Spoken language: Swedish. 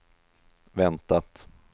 väntat